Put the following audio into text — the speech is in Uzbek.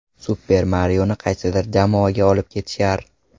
Super Marioni qaysidir jamoaga olib ketishar?!